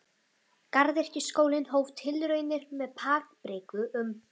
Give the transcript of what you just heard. Garðyrkjuskólinn hóf tilraunir með papriku um